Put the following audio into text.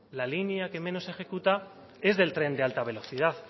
la línea que menos ejecuta es del tren de alta velocidad